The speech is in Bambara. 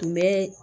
Kun bɛɛ